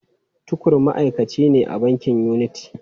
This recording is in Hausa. Tukur ma’aikaci ne a bankin Unity.